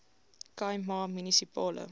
khai ma munisipale